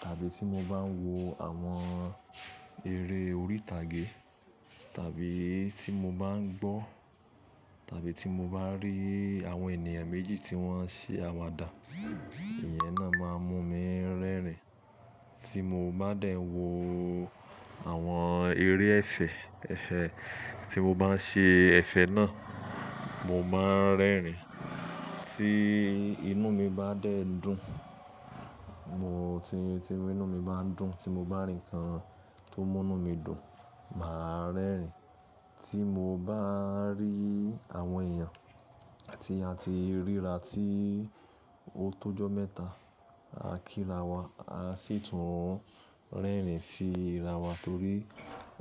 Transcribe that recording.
Tàbí tí mo bá ń wo àwọn eré orí ìtàgé tàbí tí mo bá ń gbọ́ tàbí tí mo bá rí àwọn ènìyàn méjì tí wọ́n ń ṣí àwàdà, ìyẹn náà má ń mú mi ń rẹ́rìn. Tí mo bá dẹ̀ ń wo àwọn eré ẹ̀fẹ̀, ẹh ẹh, tí mo bá ń ṣe ẹ̀fẹ̀ náà, mo má ń rẹ́rìn. Tí inú mi bá dẹ̀ ń dùn, mo tí tí inú mi bá ń dùn, tí mo bá rí ǹkan tó mú inú mi dùn, mà á rẹ́rìn. Tí mo bá rí àwọn èèyàn tí a ti ríra tí ó tó ọjọ́ mẹ́ta, a kírawa a sì tún ń rẹ́rìn sí irawa torí